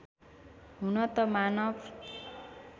हुन त मानव